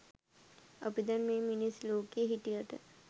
අපි දැන් මේ මිනිස් ලෝකේ හිටියට